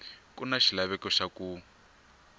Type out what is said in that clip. ku na xilaveko xa ku